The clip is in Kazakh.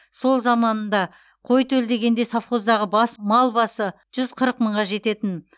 сол заманында қой төлдегенде совхоздағы бас мал басы жүз қырық мыңға жететін